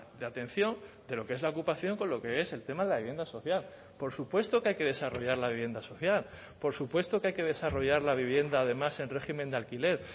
de atención de lo que es la ocupación con lo que es el tema de la vivienda social por supuesto que hay que desarrollar la vivienda social por supuesto que hay que desarrollar la vivienda además en régimen de alquiler